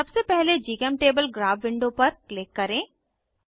सबसे पहले GChemTable graph window पर क्लिक करें